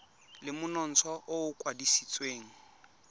le monontsha o o kwadisitsweng